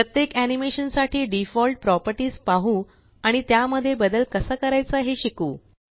प्रत्येक एनीमेशन साठी default properties पाहु आणि त्यामध्ये बदल कसा करायचा हे शिकू